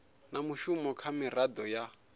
na mushumo kha miraḓo ya